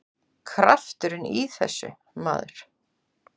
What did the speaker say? Krafturinn í þessu, maður!